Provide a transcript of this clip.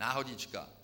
Náhodička.